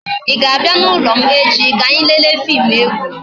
I ga-abia n'ulo m echi ka anyị lele fim egwu?